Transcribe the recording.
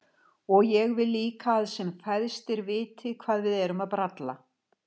Og ég vil líka að sem fæstir viti hvað við erum að bralla.